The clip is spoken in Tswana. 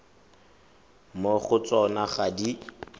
mo go tsona ga di